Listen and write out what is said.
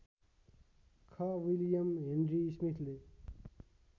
ख William Henry स्मिथले